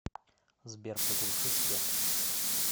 сбер приглуши свет